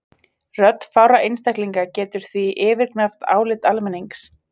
Rödd fárra einstaklinga getur því yfirgnæft álit almennings.